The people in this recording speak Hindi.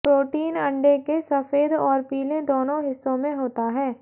प्रोटीन अंडे के सफेद और पीले दोनों हिस्सों में होता है